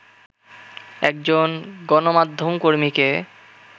একজন গণমাধ্যম কর্মীকে